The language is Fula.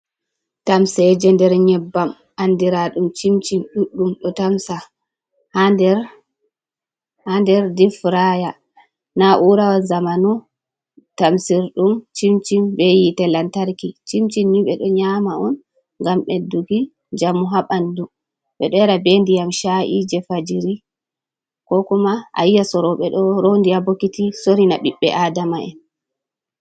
Tamseje nder nyebbam, andira dum chincin ɗuɗɗum do tamsa ha nder, ha nder difraya, na urawa zamano, tamsirdum chinchin be yite lantarki. Chinchin ni ɓeɗo nyama on, ngam beɗɗuki njamu ha bandu ɓeɗo yara be ndiyam sha’i je fajiri, ko kuma a yi'a sorobe do rondi ha bokiti sorina biɓɓe adama'en.